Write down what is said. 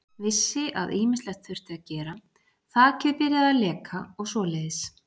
Vissi að ýmislegt þurfti að gera, þakið byrjað að leka og svoleiðis.